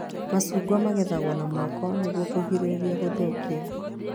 Macungwa magethagwo na moko nĩguo kũgirĩrĩria gũthũkia